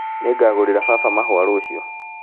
Nĩngagũrĩra baba mahũa rũciũ